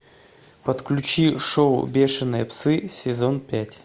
подключи шоу бешеные псы сезон пять